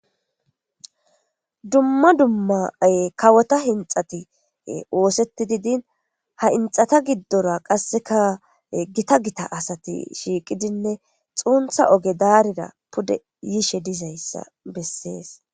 Duma duma kawota hinixati osetidi dini ha hinixata gidora qase gitta gitta asati shiqidinee xunitha oged'eyrira pude yishe dizayisa beses